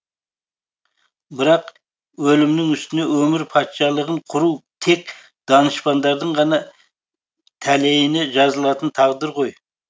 бірақ өлімнің үстіне өмір патшалығын құру тек данышпандардың ғана тәлейіне жазылатын тағдыр ғой